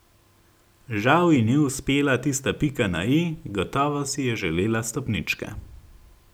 Žal ji ni uspela tista pika na i, gotovo si je želela stopničke.